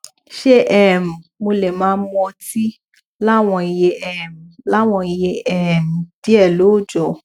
ṣé um mo lè máa mu ọtí láwọn iye um láwọn iye um díẹ lóòjọ